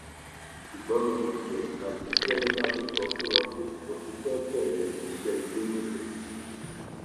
ṣùgbọn mo mọ pé àùntì jẹmílà ló sọ fún wọn pé mo ti fẹẹ bẹrẹ iṣẹ ilé níbẹ